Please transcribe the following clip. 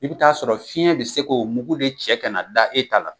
I bi t'a sɔrɔ fiɲɛn be se k'o mugu de cɛ ka na da e t'a la